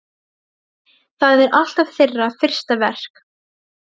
Það er alltaf þeirra fyrsta verk.